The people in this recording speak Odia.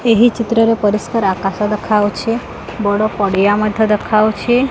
ଏହି ଚିତ୍ର ରେ ପରିସ୍କାର ଆକାଶ ଦେଖାହୋଉଛି ବଡ଼ ପଡ଼ିଆ ମଧ୍ୟ ଦେଖାହୋଉଛି।